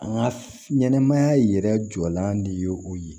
An ka ɲɛnɛmaya yɛrɛ jɔlan de ye o ye